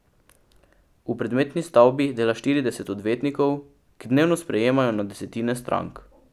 V predmetni stavbi dela štirideset odvetnikov, ki dnevno sprejemajo na desetine strank.